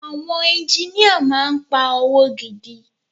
Àwọn engineer máà ń pa owó gidi.